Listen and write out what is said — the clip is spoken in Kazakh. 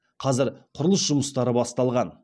қазір құрылыс жұмыстары басталған